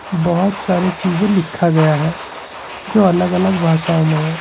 बहुत सारे चीजें लिखा गया है जो अलग अलग भाषाओं में है।